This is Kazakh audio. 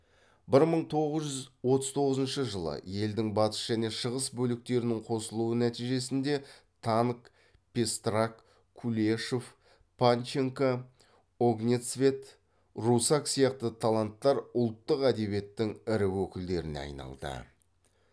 бір мың тоғыз жүз отыз тоғызыншы жылы елдің батыс және шығыс бөліктерінің қосылуы нәтижесінде танк пестрак кулешов панченко огнецвет русак сияқты таланттар ұлттық әдебиеттің ірі өкілдеріне айналды